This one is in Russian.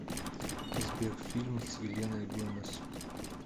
сбер фильм с еленой гомес